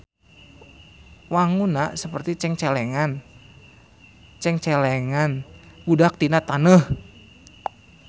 Wangunna saperti cengcelengan budak tina taneuh.